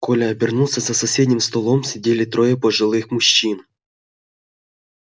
коля обернулся за соседним столом сидели трое пожилых мужчин